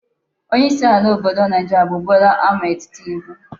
onye isi ala obodo Naijiria bu Bola Ahmed Tinubu